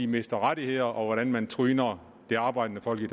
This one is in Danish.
mister rettigheder og hvordan man tryner det arbejdende folk